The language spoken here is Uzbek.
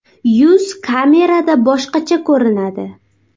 Yuz kamerada boshqacha ko‘rinadi.